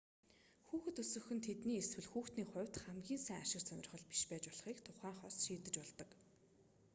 хүүхэд өсгөх нь тэдний эсвэл хүүхдийн хувьд хамгийн сайн ашиг сонирхол биш байж болохыг тухайн хос шийдэж болдог